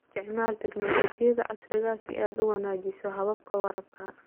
Isticmaal tignoolajiyada casriga ah si aad u wanaajiso hababka waraabka.